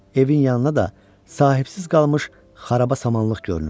Evin yanına da sahibsiz qalmış xaraba samanlıq görünürdü.